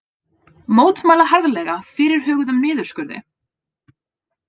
Mótmæla harðlega fyrirhuguðum niðurskurði